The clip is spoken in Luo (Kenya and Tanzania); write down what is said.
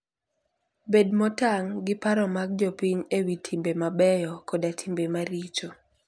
Bed motang' gi paro mag jopiny e wi timbe mabeyo koda timbe maricho.